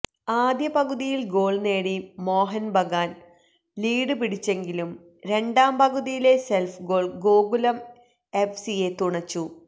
ആദ്യ പകുതുയില് ഗോള് നേടി മോഹന് ബഗാന് ലീഡ് പിടിച്ചെങ്കിലും രണ്ടാം പകുതിയിലെ സെല്ഫ് ഗോള് ഗോകുലം എഫ്സിയെ തുണച്ചു